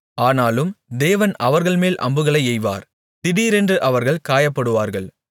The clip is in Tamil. ஆனாலும் தேவன் அவர்கள்மேல் அம்புகளை எய்வார் திடீரென்று அவர்கள் காயப்படுவார்கள்